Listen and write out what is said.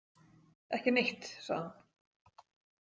Ekki neitt, sagði hún.